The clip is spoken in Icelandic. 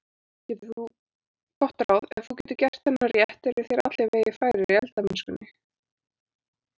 Gott ráð: Ef þú getur gert þennan rétt eru þér allir vegir færir í eldamennskunni.